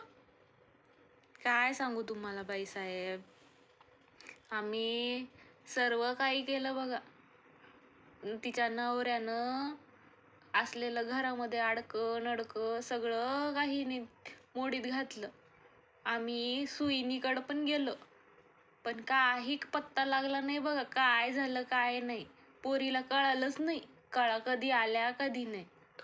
काय सांगू बाई तुम्हाला बाईसाहेब, आम्ही सर्व काही केलं बघा. तिच्या नवऱ्यानं असलेलं घरामध्ये अडकं नडकं सगळं मोडीत घातलं. आम्ही सुईणीकडेपण गेलो. पण काही एक पत्ता नाही लागला बघा. काय झाल काय नाही. पोरीला कळालच नाही, कळा कधी आल्या कधी गेल्या